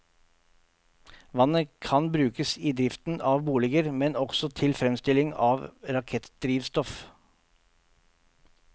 Vannet kan brukes i driften av boliger, men også til fremstilling av rakettdrivstoff.